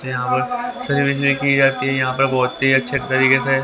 की जाती है यहां पर बहुत ही अच्छे तरीके से--